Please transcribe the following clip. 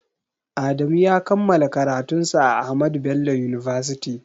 Adamu ya kammala karatun sa a Ahmadu bello university